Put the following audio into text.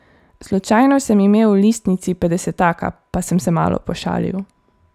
Slučajno sem imel v listnici petdesetaka, pa sem se malo pošalil.